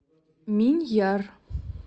миньяр